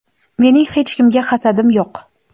Mening hech kimga hasadim yo‘q.